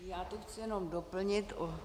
Já to chci jenom doplnit.